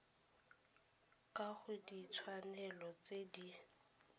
ka ga ditshwanelo tse di